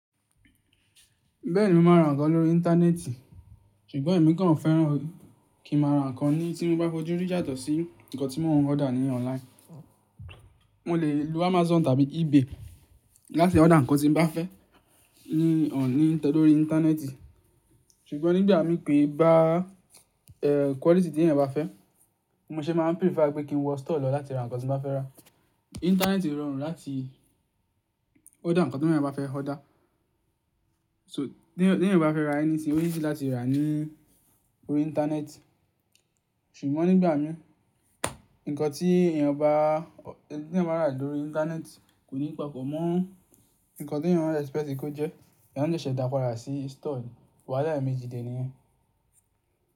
Bẹ́ẹ̀ni mo máa ra nǹkan lórí Íńtánẹ́ẹ̀tì, ṣùgbọ́n èmi kan fẹ́ràn kí ń máa ra nǹkan ní tí mo bá fojú rí yàtọ̀ sí nǹkan tí mo ń order ní online. Mo lè lo Amazon tàbí eBay láti order nǹkan tí mo bá fẹ́ ní ọ̀ ní tẹ́lẹ̀ lórí Íńtánẹ́ẹ̀tì. Ṣùgbọ́n nígbà mi ké bá quality tí èèyàn bá fẹ́, mo ṣe máa prefer pé kí n wọ store lọ láti ra nǹkan tí mo ba fẹ́ rà. Íńtánẹ́ẹ̀tì rọrùn láti order nǹkan tí ẹeyan ba fẹ́ order. So ti èèyàn bá fẹ́ ra anything o easy láti rà á ní orí Íńtánẹ́ẹ̀tì. Ṣùgbọ́n nígbà mí, nǹkan tí èèyàn bá, tí èèyàn bá rà lórí Íńtánẹ́ẹ̀tì kò ní papọ̀ mọ́ nǹkan tí èèyàn ń expect kó jẹ́. Ẹ̀yàn lè ṣẹ̀ṣẹ̀ dakora sí store wá láì méjì dé níyẹn.